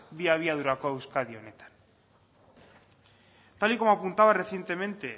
bi abiadurako euskadi honetan tal y como apuntaba recientemente